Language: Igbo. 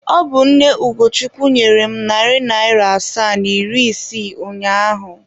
Ọ bụ nne Ugochukwu nyere m narị naịra asaa na iri isii ụnyaahụ.